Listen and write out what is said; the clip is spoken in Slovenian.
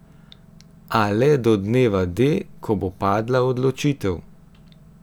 A le do dneva D, ko bo padla odločitev.